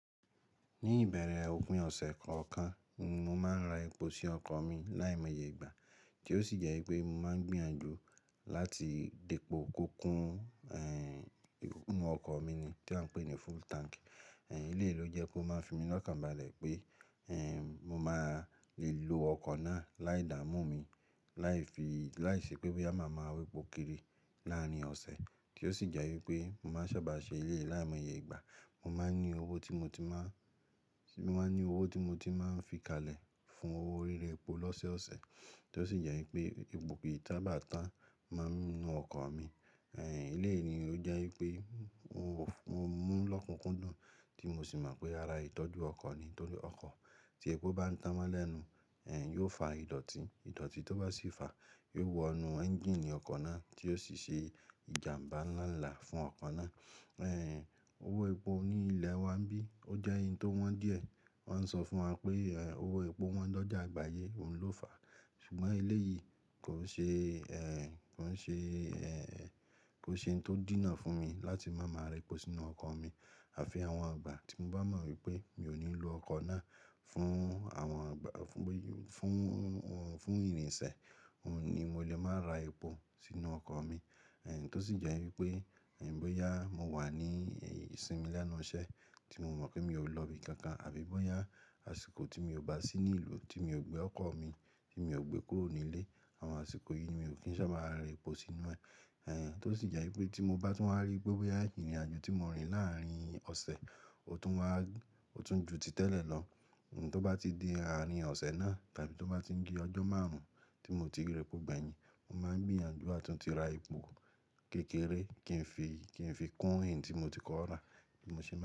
Ní ìbẹ̀rẹ̀ ọpin ọ̀sẹ̀ kọ̀ọ̀kan, ni mo máa ń ra epo sí ọkọ̀ mi láìmọye ìgbà tí ó sì jẹ́ pé mo máa ń gbìyànjú láti dépo kokun, inú ọkọ̀ mi ni tí a ń pè ní full tank. Ẹ̀, ilé yìí ló jẹ́ pé ó máa ń fi mí lọ́kàn balẹ̀ pé, ẹ́, mo máa le lo ọkọ̀ náà láìdámú mi, láì fi, láìṣẹ́ pé bóyá màá máa wépo kiri láàárín ọ̀sẹ̀ tí ó sì jẹ́ wípé mo máa ń sábà ṣe ilé yìí láìmọye ìgbà. Mo máa ń ní owó tí mo ti máa, mo máa ń ní owó tí mo ti máa ń fi kalẹ̀ fún owó ri ra epo lọ́sẹ̀ ọ̀sẹ̀ tí ó sì jẹ́ wípé epo kì sa bá tán mo ińú ọkọ̀ mi. Ẹ̀lẹyìí ló jẹ́ wípé mo, mo mú lọ́kùnkúndùn tí mo sì mọ̀ pé ara ìtọ́jú ọkọ̀ ni nítorí ọkọ̀ tí epo bá ń tán mo lẹ́nu, ẹ́, yóò fa ìdọ̀tí, ìdọ̀tí tó bá sì fa yóò wọnú ẹ́ńjíìnì ọkọ̀ náà tí yóò sì ṣe ìjàmbá ńlá ńlá fún ọkọ̀ náà. Ẹ̀, owó epo ní ilẹ̀ wa ń bí, ó jẹ́ eyín tó wọ́n díẹ̀. Wọ́n ń sọ fún wa pé, ẹ́, owó epo wọ́n lọ́jà àgbáyé, òun ló fàá. Ṣùgbọ́n elé yìí kò ṣe, ẹ́, kò ṣe, ẹ́, kò ṣe ohun tó dínà fún mi láti máa máa rẹ epo sínú ọkọ̀ mi. Àfi àwọn ìgbà tí mo bá mọ̀ wípé mi ò ní lo ọkọ̀ náà fún àwọn ìgbà, fún, fún, fún ìrìnṣẹ̀, òun ni mo lè máa ra epo sínú ọkọ̀ mi. Ẹ̀, tó sì jẹ́ wípé, ẹ́, bóyá mo wà ní ìsinmi lẹ́nu iṣẹ́ tí mo mọ̀ pé mi ò lọ ibi kankan àbí bóyá àsìkò tí mi ò bà sí ní ìlú tí mi ò gbé ọkọ̀ mi, tí mi ò gbé kúrò nílé. Àwọn àsìkò yìí mi ò kìn sá bá ra epo sí inú ẹ̀ tí ó sì jẹ́ wí pé tí mo bá rí wípé bóyá ìrìnàjò tí mo rìn láarin ọ̀sẹ̀ ó tún jù ti tẹ́ lẹ̀ lọ. Ohun tó bá ti di àárín ọ̀sẹ̀ náà, tábí tó bá ti di ọjọ́ márùn-ún tí mo ti rẹ epo gbẹ̀yìn, mo máa ń gbìyànjú à tún ti ra epo kékeré kí n fi, kí n fi kún èyín tí mo ti kọ̀ rà bí mo ṣe máa.